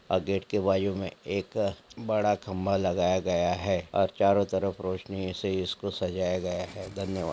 और गेट के बाजू में एक बड़ा खंभा लगाया गया है और चारों तरफ रोशनी से इसे-इसको सजाया गया है धन्यवाद।